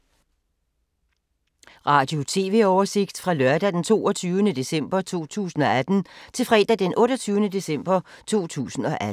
Radio/TV oversigt fra lørdag d. 22. december 2018 til fredag d. 28. december 2018